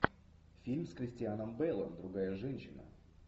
фильм с кристианом бэйлом другая женщина